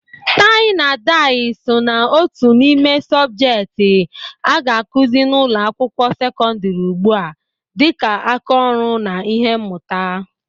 Tai na dai so ná otu n'ime subjekti a ga-akụzi n'ụlọ akwụkwọ sekondri ugbua dịka aka ọrụ na ihe mmuta